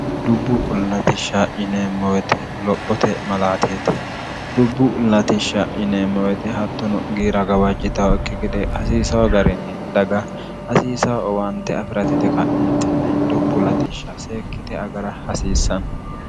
dubbu ullatishsha ineemmowete lophote malaateete dubbu latishsha ineemmowete hattono giira gawajjitaho kki gede hasiisaho agarinni daga hasiisa owante afi'ratite ka'entenni dubbu latishsha seekkite agara hasiissanno